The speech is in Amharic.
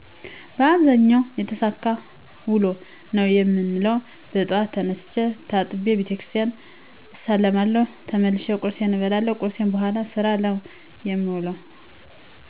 አብዛኛውን የተሳካ ውሎ ነው የምውለው። በጠዋት ተነስቸ ታጥቤ ቤተክርስቲያን እሳለማለሁ ተመልሸ ቆርስ እበላለሁ ከቁርስ በኋላ ስራ ነው የምውለሁ